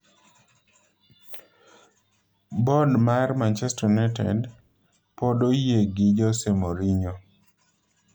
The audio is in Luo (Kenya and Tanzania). Bod mar Manchester United pod oyie gi Jose Mourinho